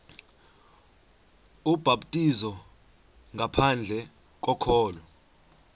ubhaptizo ngaphandle kokholo